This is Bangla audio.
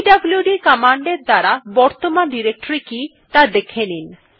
পিডব্লুড কমান্ড এর দ্বারা বর্তমান ডিরেক্টরী কি ত়া দেখে নিন